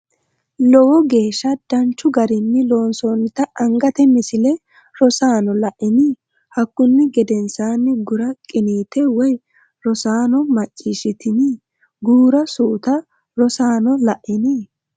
Lowo geeshsha danchu garinni loonsonita angate misile Rosaano la’ini? Hakkunni gedensaanni gura qiniite woy Rosaano macciishshitini? guura suuta Rosaano la’ini?